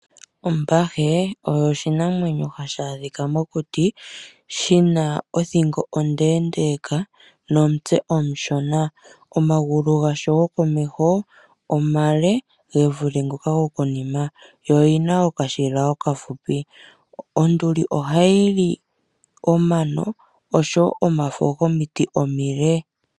Ombahe oyo oshinamwenyo hashi adhika mokuti, shina othingo ondeendeka nomutse omushona. Omagulu gasho gokomeho omale ge vule ngoka go konima, yo oyina okashila okafupi. Onduli ohayi li omano, oshowo omafo gomiti omile.